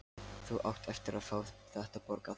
Þú átt eftir að fá þetta borgað!